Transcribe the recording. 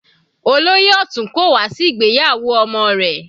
Olóyè Otun kò wá sí ìgbéyàwó ọmọ rẹ̀.